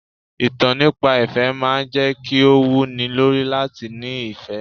Ìtàn nípa ìfẹ́ máa ń jẹ́ kí ó wú ni lórí láti ní ìfẹ́.